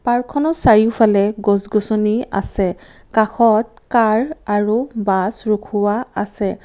পাৰ্কখনৰ চাৰিওফালে গছ গছনি আছে কাষত কাৰ আৰু বাছ ৰখোৱা আছে।